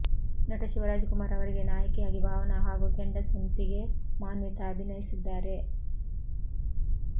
ನಟ ಶಿವರಾಜ್ ಕುಮಾರ್ ಅವರಿಗೆ ನಾಯಕಿಯಾಗಿ ಭಾವನಾ ಹಾಗೂ ಕೆಂಡಸಂಪಿಗೆ ಮಾನ್ವಿತಾ ಅಭಿನಯಿಸಿದ್ದಾರೆ